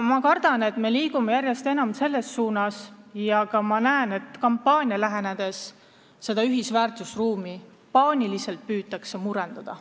Ma kardan, et me liigume järjest enam selles suunas, et paaniliselt püütakse eriti just kampaania lähenedes seda ühist väärtusruumi murendada.